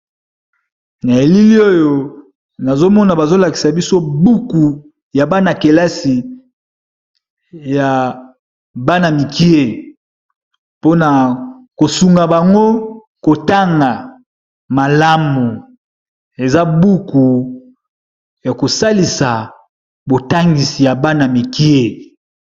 Na elili oyo nazomona bazolakisa biso buku ya bana kelasi ya bana mikie mpona kosunga bango kotanga malamu eza buku ya kosalisa botangisi ya bana mikie.